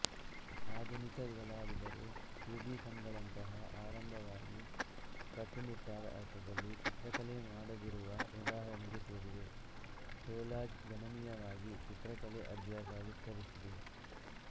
ಆಧುನಿಕ ಕಲಾವಿದರು ಕ್ಯುಬಿಸಮ್ಗಳಂತಹ ಆರಂಭವಾಗಿ ಕಟ್ಟುನಿಟ್ಟಾದ ಅರ್ಥದಲ್ಲಿ ಚಿತ್ರಕಲೆ ಮಾಡದಿರುವ ಉದಾಹರಣೆಗೆ ಸೇರಿವೆ ಕೊಲಾಜ್ ಗಣನೀಯವಾಗಿ ಚಿತ್ರಕಲೆ ಅಭ್ಯಾಸ ವಿಸ್ತರಿಸಿದೆ